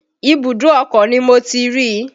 Ibùdó ọkọ̀ ni Mo ti rí i